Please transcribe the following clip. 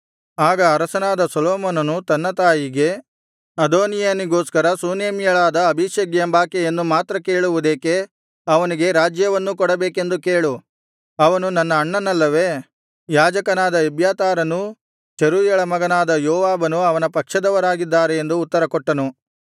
ಆಗ ಅರಸನಾದ ಸೊಲೊಮೋನನು ತನ್ನ ತಾಯಿಗೆ ಅದೋನೀಯನಿಗೋಸ್ಕರ ಶೂನೇಮ್ಯಳಾದ ಅಬೀಷಗ್ ಎಂಬಾಕೆಯನ್ನು ಮಾತ್ರ ಕೇಳುವುದೇಕೆ ಅವನಿಗೆ ರಾಜ್ಯವನ್ನೂ ಕೊಡಬೇಕೆಂದು ಕೇಳು ಅವನು ನನ್ನ ಅಣ್ಣನಲ್ಲವೇ ಯಾಜಕನಾದ ಎಬ್ಯಾತಾರನೂ ಚೆರೂಯಳ ಮಗನಾದ ಯೋವಾಬನೂ ಅವನ ಪಕ್ಷದವರಾಗಿದ್ದಾರೆ ಎಂದು ಉತ್ತರಕೊಟ್ಟನು